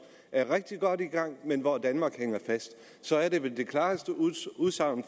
er rigtig godt i gang men hvor danmark hænger fast så er det vel det klareste udtryk